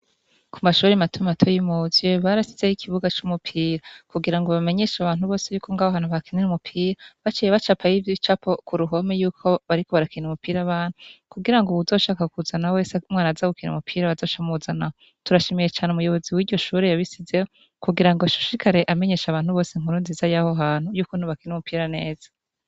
Ku mashuri mato mato y'i Muzye, barashizeho ikibuga cy'umupira. Kugira ngo bamenyeshe abantu bose yuko ngaho hantu bakinira umupira, baciye bacapako ibicapo ku ruhome yuko bariko barakina umupira bantu kugira ngo bazoshaka kuzana ho wese mwana azagukina umupira bazashamuzanaho turashimiye cane umuyobozi w'iryo shure yabisizeho kugira ngo ashishikare amenyeshe abantu bose nkuru nziza y'aho hantu y'uko nti bakina umupira neza.